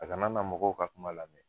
A kana na mɔgɔw ka kuma lamɛn.